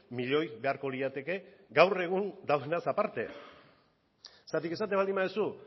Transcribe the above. miloi beharko lirateke gaur egun dagoenaz aparte zergatik esaten baldin baduzu